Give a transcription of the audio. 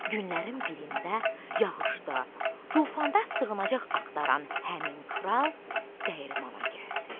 Günlərin birində yağışda, tufanda sığınacaq axtaran həmin kral dəyirmana gəldi.